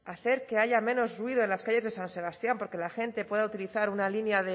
hacer que haya menos ruido en las calles de san sebastián para que la gente pueda utilizar una línea